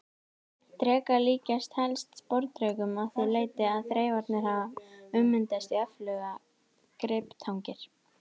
Drekar líkjast helst sporðdrekum að því leyti að þreifararnir hafa ummyndast í öflugar griptangir.